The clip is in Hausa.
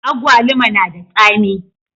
Agwaluma na da tsami